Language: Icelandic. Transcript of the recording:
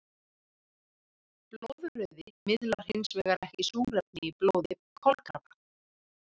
Blóðrauði miðlar hinsvegar ekki súrefni í blóði kolkrabba.